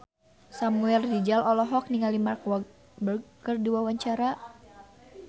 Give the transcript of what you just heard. Samuel Rizal olohok ningali Mark Walberg keur diwawancara